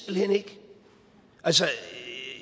hen ikke altså